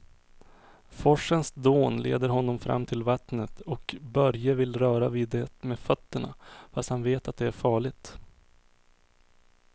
Forsens dån leder honom fram till vattnet och Börje vill röra vid det med fötterna, fast han vet att det är farligt.